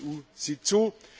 Die EU sieht zu.